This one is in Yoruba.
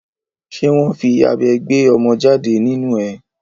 Ṣé wọ́n fi abẹ gbé ọmọ jáde nínu ẹ?